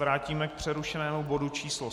Vrátíme k přerušenému bodu číslo